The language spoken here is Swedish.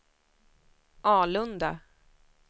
Alunda